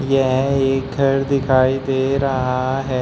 यह एक घर दिखाई दे रहा है।